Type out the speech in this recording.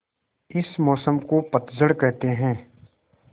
इस मौसम को पतझड़ कहते हैं